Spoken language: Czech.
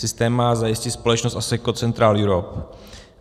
Systém má zajistit společnost Asseco Central Europe.